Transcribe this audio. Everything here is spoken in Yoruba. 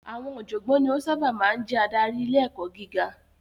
Àwọn ọ̀jọ̀gbọ́n ni ó sábà máa ń ń jẹ́ adarí ilé ẹ̀kọ́ gíga.